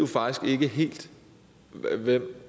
faktisk ikke helt ved